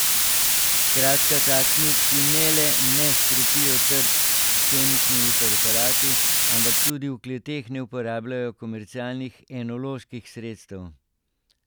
Skratka takšni, ki ne le ne škropijo trt s kemičnimi preparati, ampak tudi v kleteh ne uporabljajo komercialnih enoloških sredstev.